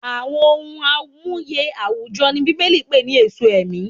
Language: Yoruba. Àwọn ohun amuye àwùjọ ni Bíbélì pè ní "èso ẹ̀mí."